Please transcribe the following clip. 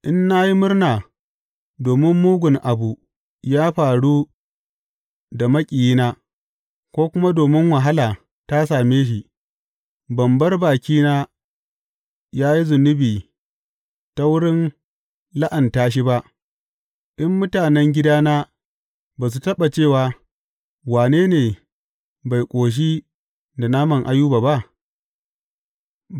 In na yi murna domin mugun abu ya faru da maƙiyina; ko kuma domin wahala ta same shi, ban bar bakina yă yi zunubi ta wurin la’anta shi ba, in mutanen gidana ba su taɓa cewa, Wane ne bai ƙoshi da naman Ayuba ba?’